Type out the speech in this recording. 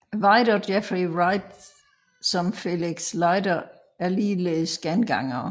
White og Jeffrey Wright som Felix Leiter er ligeledes gengangere